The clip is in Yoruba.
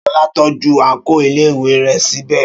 Ṣọlá tọ́jú àǹkóò iléèwé rẹ̀ sí bẹ̀